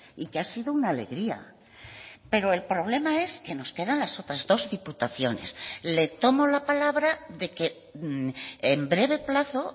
y que ha sido una alegría pero el problema es que nos quedan las otras dos diputaciones le tomo la palabra de que en breve plazo